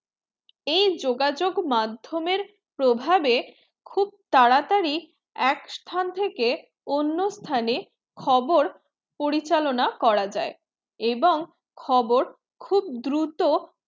এই যোগাযোগ মাধমের প্রভাবে খুব তারা তারই এক স্থান থেকে অন্য স্থানে খবর পরিচালনা করা যায় এবং খবর খুব দূরত্ব